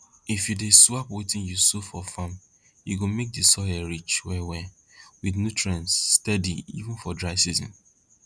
if you dey swap wetin you sow for farm e go make di soil rich well well with nutrients steady even for dry season